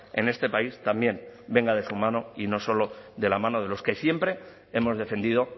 en este país también venga de su mano y no solo de la mano de los que siempre hemos defendido